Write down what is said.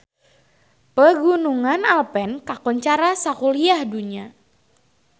Pegunungan Alpen kakoncara sakuliah dunya